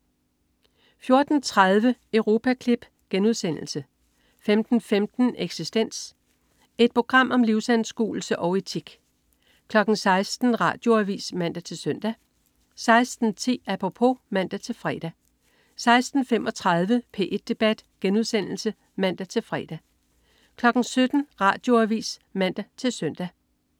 14.30 Europaklip* 15.15 Eksistens. Et program om livsanskuelse og etik 16.00 Radioavis (man-søn) 16.10 Apropos (man-fre) 16.35 P1 debat* (man-fre) 17.00 Radioavis (man-søn)